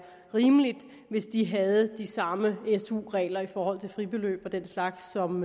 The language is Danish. rimeligt hvis de havde de samme su regler i forhold til fribeløb og den slags som